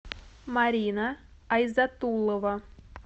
марина айзатулова